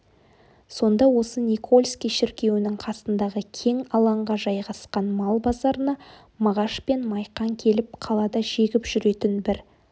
сонда осы никольский шіркеуінің қасындағы кең алаңға жайғасқан мал базарына мағаш пен майқан келіп қалада жегіп жүретін бір